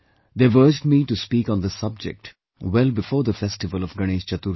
They have urged me to speak on this subject well before the festival of Ganesh Chaturthi